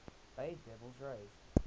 bay devil rays